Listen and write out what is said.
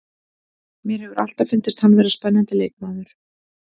Mér hefur alltaf fundist hann vera spennandi leikmaður.